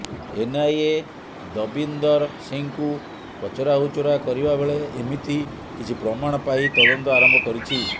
NIA Davinder ସିଂହକୁ ପଚରାଉଚାର କରିବା ବେଳେ ଏମିତି କିଛି ପ୍ରମାଣ ପାଇ ତଦନ୍ତ ଆରମ୍ଭ କରିଛି